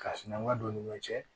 Ka sinankuya don ni ɲɔ cɛ